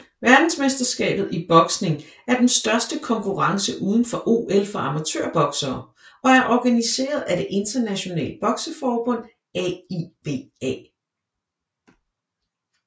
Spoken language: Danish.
Verdensmesterskabet i boksning er den største konkurrence udenfor OL for amatørboksere og er organiseret af det internationale bokseforbund AIBA